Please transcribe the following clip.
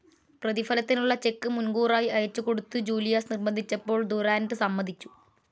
പ്രതിഫലത്തിനുള്ള cheque മുൻകൂറായി അയച്ചുകൊടുത്തു Julius നിർബന്ധിച്ചപ്പോൾ ദുറാൻഡ് സമ്മതിച്ചു.